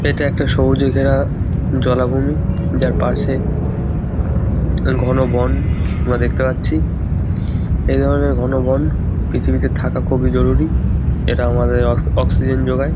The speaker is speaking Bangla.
এটা একটা সবুজে ঘেরা জলাভূমি যার পাশে ঘন বন আমরা দেখতে পাচ্ছি এই ধরনের ঘন বন পৃথিবীতে থাকা খুবই জরুরী এটা আমাদের অক্স অক্সিজেন যোগায়।